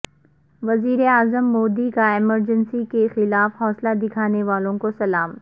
وزیر اعظم مودی کا ایمرجنسی کے خلاف حوصلہ دکھانے والوں کو سلام